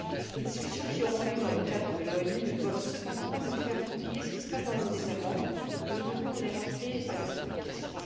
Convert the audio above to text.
Les discussions qui auront lieu dans le cadre de l'ONU ne doivent cependant pas nous faire oublier ce qui se passe dans nos États membres et nous devons les rappeler à leurs obligations.